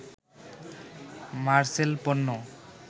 মারসেল পণ্য